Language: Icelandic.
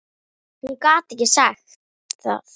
Hún gat ekki sagt það.